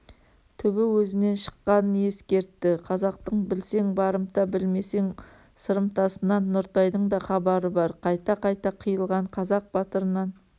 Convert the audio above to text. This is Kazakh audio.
түбі өзінен шыққанын ескертті қазақтың білсең барымта білмесең сырымтасынан нұртайдың да хабары бар қайта-қайта қиылған қазақ батырынан